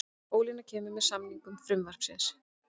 Ólína kemur að samningu frumvarpsins